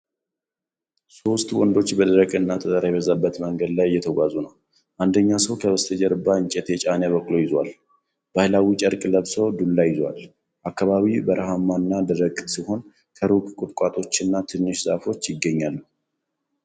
ሶስት ወንዶች በደረቅና ጠጠር የበዛበት መንገድ ላይ እየተጓዙ ነው። አንደኛው ሰው ከበስተጀርባው እንጨት የጫነ በቅሎ ይዞአል። ባህላዊ ጨርቅ ለብሰው ዱላ ይዘዋል። አካባቢው በረሃማ እና ደረቅ ሲሆን፣ ከሩቅ ቁጥቋጦዎችና ትንሽ ዛፎች ይገኛሉ። vvvvvvv